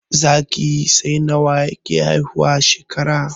Zaki sai nawa yake haihuwa a shekara